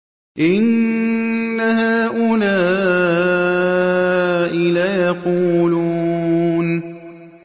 إِنَّ هَٰؤُلَاءِ لَيَقُولُونَ